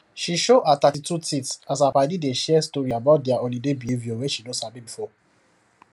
she show her thirtytwo teeth as her padi dey share story about their holiday behaviour wey she no sabi before